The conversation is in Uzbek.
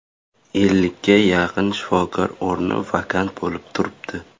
Ellikka yaqin shifokor o‘rni vakant bo‘lib turibdi.